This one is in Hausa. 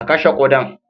Ka kashe kuɗan